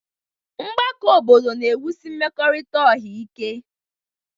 Mgbakọ obodo na-ewusi mmekọrịta ọha ike.